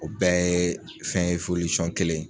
O bɛɛ ye fɛn ye kelen.